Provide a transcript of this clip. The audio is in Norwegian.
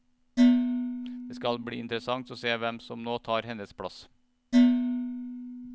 Det skal bli interessant å se hvem som nå tar hennes plass.